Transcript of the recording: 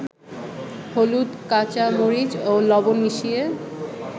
হলুদ, কাঁচামরিচ ও লবণ মিশিয়ে